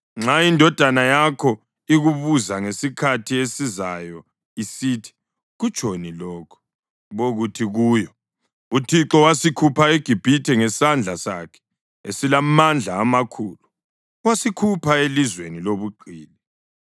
Nxa indodana yakho ikubuza ngesikhathi esizayo isithi, ‘Kutshoni lokhu?’ ubokuthi kuyo, ‘ uThixo wasikhupha eGibhithe ngesandla sakhe esilamandla amakhulu, wasikhupha elizweni lobugqili.